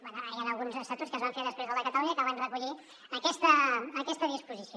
bé hi han alguns estatuts que es van fer després del de catalunya que van recollir aquesta disposició